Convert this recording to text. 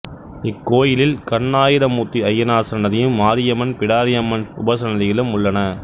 இக்கோயிலில் கண்ணாயிரமூர்த்தி ஐயனார் சன்னதியும் மாரியம்மன் பிடாரியம்மன் உபசன்னதிகளும் உள்ளன